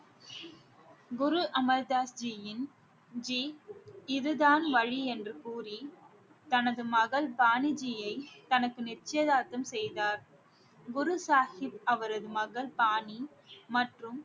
குரு அமர் தாஸ் ஜியின் ஜி இதுதான் வழி என்று கூறி தனது மகள் பாணிஜியை தனக்கு நிச்சயதார்த்தம் செய்தார் குரு சாஹிப் அவரது மகள் பாணி மற்றும்